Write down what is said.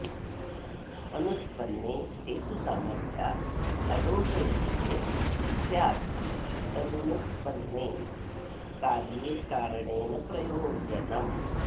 अनुत्पन्ने हेतुसामर्थ्याददोष इति चेत् स्यात्तदनुत्पन्ने कार्ये कारणेन प्रयोजनम्